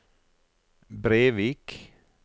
Brevik